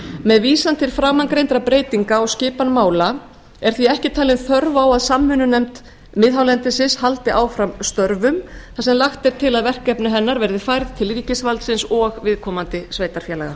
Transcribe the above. með vísan til framangreindra breytinga á skipan mála er því ekki talin þörf á að samvinnunefnd miðhálendisins haldi áfram störfum þar sem lagt er til að verkefni hennar verði færð til ríkisvaldsins og viðkomandi sveitarfélaga